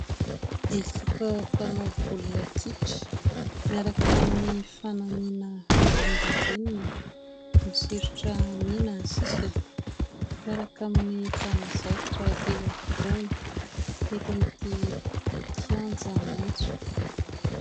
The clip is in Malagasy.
Ekipa mpanao baolina kitra ; miaraka amin'ny fanamiana volondavenona, misoritra mena ny sisiny ; miaraka amin'ny mpanazatra eo afovoany eto amin'ity kianja maitso.